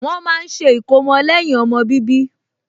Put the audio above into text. Wọ́n máa ń ṣe ìkómọ lẹ́yìn ọmọ bíbí